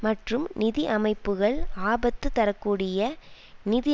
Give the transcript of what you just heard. மற்றும் நிதி அமைப்புக்கள் ஆபத்து தர கூடிய நிதி